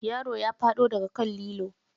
Yaron ya faɗo daga kan lilo.